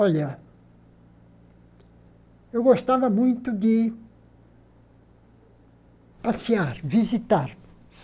Olha, eu gostava muito de passear, visitar.